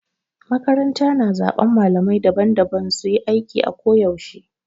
Makaranta na zaben malamai daban-daban su yi aiki a ko yaushe.